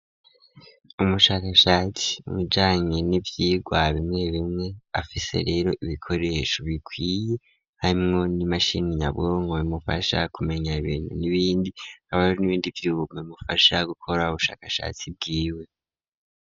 Umushakashatsi mubijanye n'ivyigwa bimwe bimwe afise rero ibikoresho bikwiye harimwo n'imashini nyabwongo bimufasha kumenya ibintu n'ibindi hakaba hari n'ibindi vyuma bimufasha gukora ubushakashatsi bwiwe.